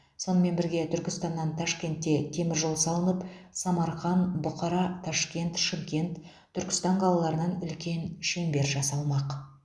сонымен бірге түркістаннан ташкенте темір жол салынып самарқан бұқара ташкент шымкент түркістан қалаларынан үлкен шеңбер жасалмақ